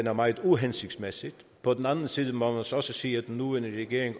er meget uhensigtsmæssigt på den anden side må man så også sige at den nuværende regering